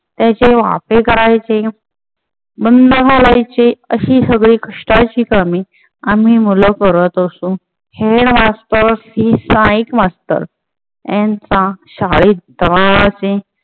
त्याचे वाफे करायचे बंध घालायचे. अशी सगळी कष्टाची कामे आम्ही मुले करत असो. हेड मास्टर मास्टर यांचा शाळेत दरारा असे